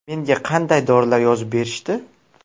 Menga qanday dorilar yozib berishdi?